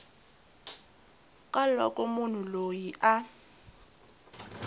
ka loko munhu loyi a